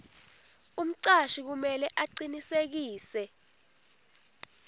umcashi kumele acinisekise